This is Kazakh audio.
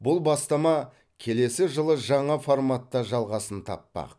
бұл бастама келесі жылы жаңа форматта жалғасын таппақ